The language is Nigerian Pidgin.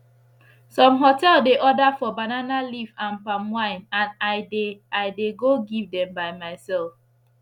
some hotel dey order for banana leaf and palm wine and i dey i dey go give dem by mysef